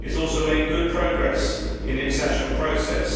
It has also made good progress in the accession process.